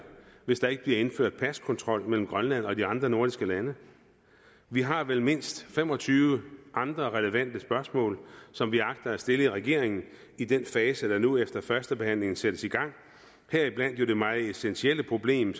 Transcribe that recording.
hvis der ikke bliver indført paskontrol mellem grønland og de andre nordiske lande vi har vel mindst fem og tyve andre relevante spørgsmål som vi agter at stille regeringen i den fase som der nu efter førstebehandlingen sættes i gang heriblandt om det meget essentielle problem